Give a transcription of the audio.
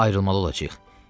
Daha ayrılmalı olacağıq.